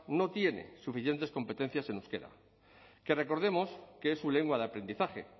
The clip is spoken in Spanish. no tiene suficientes competencias en euskera que recordemos que es su lengua de aprendizaje